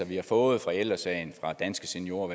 vi har fået fra ældre sagen danske seniorer og